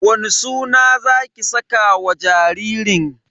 Wani suna zaki saka wa jaririn?